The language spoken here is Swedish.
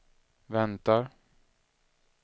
väntar